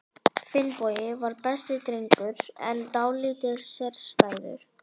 Finnbogi var besti drengur, en dálítið sérstæður.